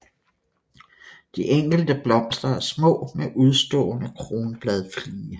De enkelte blomster er små med udstående kronbladflige